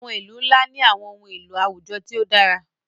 àwọn ilu nla ni àwọn ohun elo awujọ ti o dara.